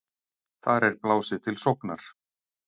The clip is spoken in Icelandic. Þar er blásið til sóknar.